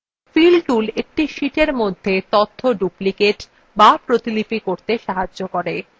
fill tool একটি sheetএর মধ্যে তথ্য duplicate the প্রতিলিপি করতে সাহায্য করে